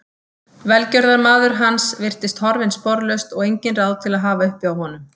Velgjörðarmaður hans virtist horfinn sporlaust og engin ráð til að hafa uppi á honum.